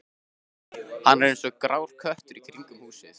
Hann er eins og grár köttur í kringum húsið.